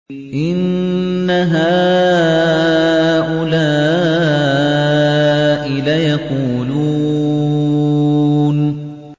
إِنَّ هَٰؤُلَاءِ لَيَقُولُونَ